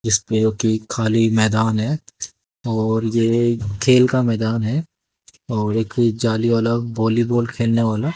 जिसपे वो की खाली मैदान है और ये खेल का मैदान है और एक जाली वाला वॉलीबॉल खेलने वाला--